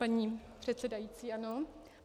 Paní předsedající, ano?